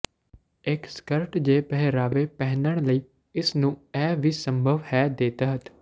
ਇੱਕ ਸਕਰਟ ਜ ਪਹਿਰਾਵੇ ਪਹਿਨਣ ਲਈ ਇਸ ਨੂੰ ਇਹ ਵੀ ਸੰਭਵ ਹੈ ਦੇ ਤਹਿਤ